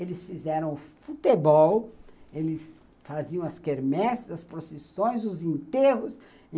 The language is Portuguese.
Eles fizeram futebol, eles faziam as quermesses, as processões, os enterros.